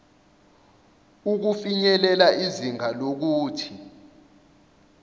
ukufinyelela izinga lokuthi